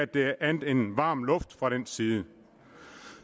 det er andet end varm luft fra den side